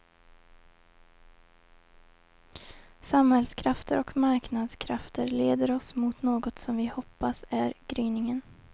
Samhällskrafter och marknadskrafter leder oss mot något som vi hoppas är gryningen.